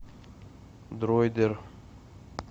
дроидер